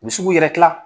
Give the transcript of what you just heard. U bɛ se k'u yɛrɛ kila